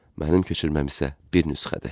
Mənim köçürməm isə bir nüsxədir.